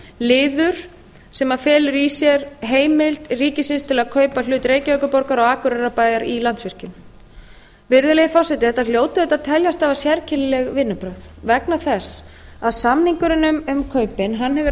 liður sem felur í sér heimild ríkisins til að kaupa hlut reykjavíkurborgar og akureyrarbæjar í landsvirkjun virðulegi forseti þetta hljóta auðvitað að teljast afar sérkennileg vinnubrögð vegna þess að samningurinn um kaupin hefur